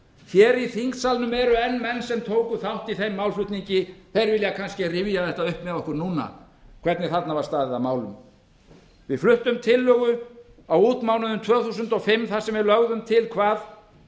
hér í þingsalnum eru enn menn sem tóku þátt í þeim málflutningi þeir vilja kannski rifja það upp með okkur núna hvernig þarna var staðið að málum við fluttum tillögu á útmánuðum tvö þúsund og fimm þar sem við lögðum til hvað